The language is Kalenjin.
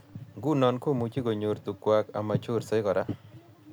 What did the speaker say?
Nguno komuchi konyor tukukwaci amachorsei kora